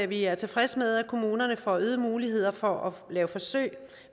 vi er tilfredse med at kommunerne får øgede muligheder for at lave forsøg